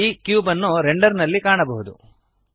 ಈ ಕ್ಯೂಬ್ ಅನ್ನು ರೆಂಡರ್ ನಲ್ಲಿ ಈಗ ಕಾಣಬಹುದು